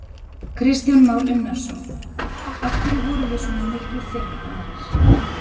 Kristján Már Unnarsson: Af hverju vorum við svona miklu fyrr en aðrir?